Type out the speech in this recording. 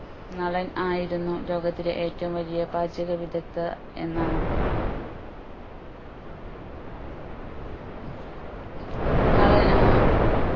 നളൻ ആയിരുന്നു ലോകത്തിലെ ഏറ്റവും വലിയ പാചക വിദക്തൻ എന്നാണ് നളൻ ഏർ